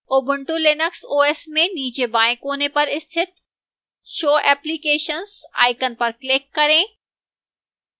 ubuntu linux os में नीचे बाएं कोने पर स्थित show applications icon पर click करें